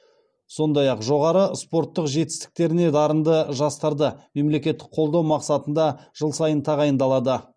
сондай ақ жоғары спорттық жетістіктеріне дарынды жастарды мемлекеттік қолдау мақсатында жыл сайын тағайындалады